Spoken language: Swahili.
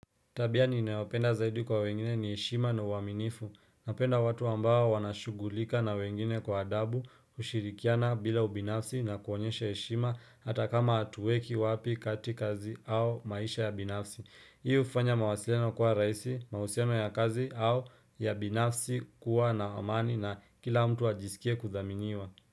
Tabia ninayopenda zaidi kwa wengine ni heshima na uaminifu. Napenda watu ambao wanashugulika na wengine kwa adabu ushirikiana bila ubinafsi na kuonyesha heshima hata kama hatueki wapi kati kazi au maisha ya binafsi. Hii ufanya mawasilano kwa raisi, mausiano ya kazi au ya binafsi kuwa na amani na kila mtu ajisikie kuthaminiwa.